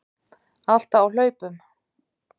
Alltaf á hlaupum.